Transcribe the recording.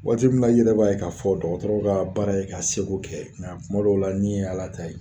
Waati min na n yɛrɛ b'a ye k'a fɔ dɔgɔtɔrɔw ka baara ye k'a seko kɛ ŋa kuma dɔw la ni ye Ala ta ye.